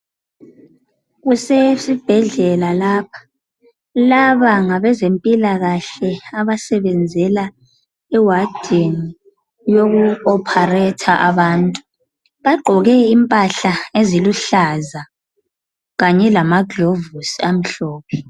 Kusesibhedlela lapha, laba ngabezempila kahle abasebenzela ewadini yoku operator abantu. Bagqoke impahla eziluhlaza kanye lama gilovisi amhlophe.